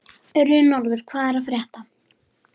Runólfur, hvað er að frétta?